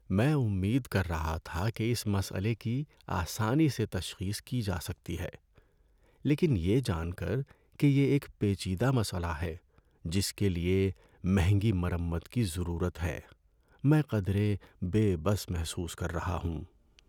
میں امید کر رہا تھا کہ اس مسئلے کی آسانی سے تشخیص کی جا سکتی ہے، لیکن یہ جان کر کہ یہ ایک پیچیدہ مسئلہ ہے جس کے لیے مہنگی مرمت کی ضرورت ہے، میں قدرے بے بس محسوس کر رہا ہوں۔